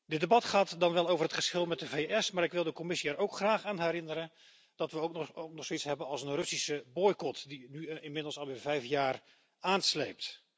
Dit debat gaat dan wel over het geschil met de VS, maar ik wil de Commissie er ook graag aan herinneren dat we ook nog zoiets hebben als een Russische boycot die nu inmiddels alweer vijf jaar aansleept.